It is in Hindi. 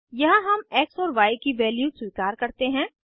यहाँ हम एक्स और य की वैल्यू स्वीकार करते हैं